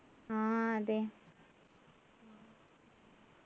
ആഹ് അതെ